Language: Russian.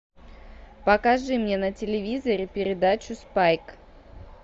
покажи мне на телевизоре передачу спайк